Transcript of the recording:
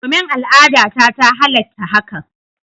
Domin, al'adata ta halatta hakan.